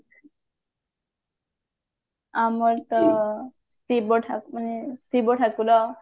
ଆମର ତ ଶିବ ଠା ଶିବ ଠାକୁର